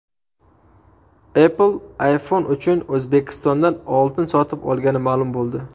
Apple iPhone uchun O‘zbekistondan oltin sotib olgani ma’lum bo‘ldi.